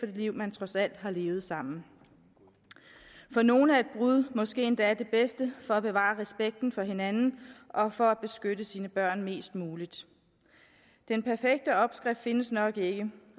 liv man trods alt har levet sammen for nogle er et brud måske endda det bedste for at bevare respekten for hinanden og for at beskytte sine børn mest muligt den perfekte opskrift findes nok ikke